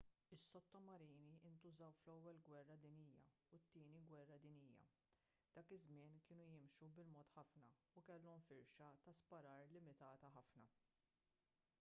is-sottomarini ntużaw fl-ewwel gwerra dinjija u t-tieni gwerra dinjija dak iż-żmien kienu jimxu bil-mod ħafna u kellhom firxa ta' sparar limitata ħafna